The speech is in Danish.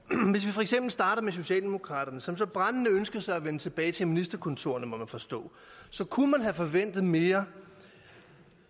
for eksempel starter med socialdemokraterne som så brændende ønsker sig at vende tilbage til ministerkontorerne må man forstå kunne have forventet mere